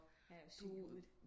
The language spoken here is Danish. Han er jo syg i hovedet